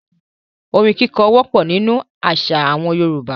Orin kíkọ wọ́pọ̀ nínú àṣà àwọn Yorùbá.